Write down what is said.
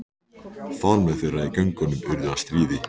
Faðmlög þeirra í göngunum urðu að stríði.